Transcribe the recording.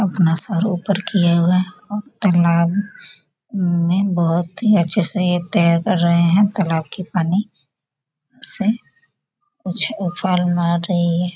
अपना सर ऊपर किए हुए तालाब में बहुत ही अच्छे ये तैर रहे है तालाब के पानी से कुछ उफान मार रही है।